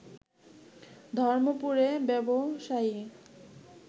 ধর্মপুরে ব্যবসায়ী